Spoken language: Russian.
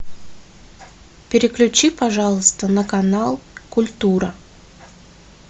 переключи пожалуйста на канал культура